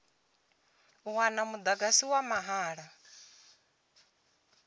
u wana mudagasi wa mahala